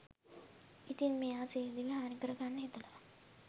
ඉතින් මෙයා සියදිවි හානිකර ගන්න හිතලා